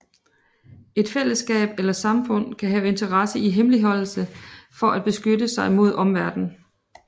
Et fællesskab eller samfund kan have interesse i hemmeligholdelse for at beskytte sig imod omverden